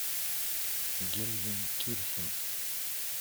гельзенкирхен